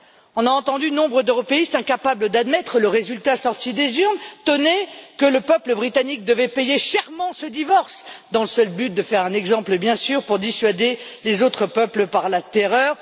On a entendu nombre d'européistes incapables d'admettre le résultat sorti des urnes tonner que le peuple britannique devait payer chèrement ce divorce, dans le seul but de faire un exemple, bien sûr, pour dissuader les autres peuples par la terreur.